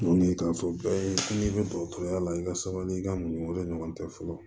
Wuli k'a fɔ bɛɛ ye sini dɔgɔtɔrɔya la i ka sɛbɛnnikɛyɔrɔ ɲɔgɔn tɛ fɔlɔ